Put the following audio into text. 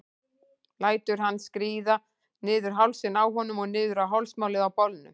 Lætur hann skríða niður hálsinn á honum og niður á hálsmálið á bolnum.